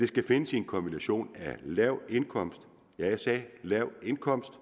skal findes i en kombination af en lav indkomst ja jeg sagde lav indkomst